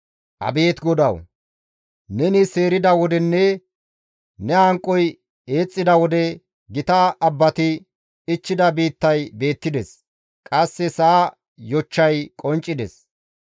Abeet GODAWU! Neni seerida wodenne ne hanqoy eexxida wode, gita abbati ichchida biittay beettides; qasse sa7a yochchay qonccides.